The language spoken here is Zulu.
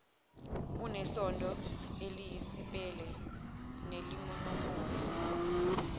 unesondo eliyisipele nelinomoya